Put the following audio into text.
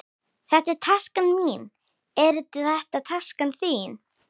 Þetta er taskan mín. Er þetta taskan þín?